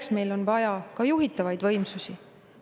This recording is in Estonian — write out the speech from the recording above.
Seepärast on vaja ka juhitavaid võimsusi.